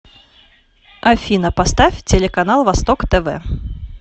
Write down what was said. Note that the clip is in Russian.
афина поставь телеканал восток тв